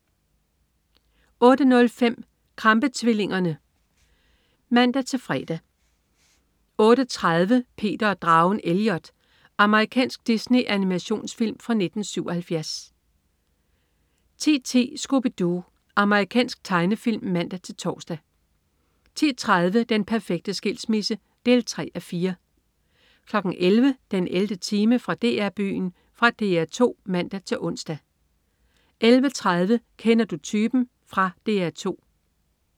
08.05 Krampe-tvillingerne (man-fre) 08.30 Peter og dragen Elliot. Amerikansk Disney-animationsfilm fra 1977 10.10 Scooby Doo. Amerikansk tegnefilm (man-tors) 10.30 Den perfekte skilsmisse 3:4 11.00 den 11. time. Fra DR-Byen. Fra DR 2 (man-ons) 11.30 Kender du typen? Fra DR 2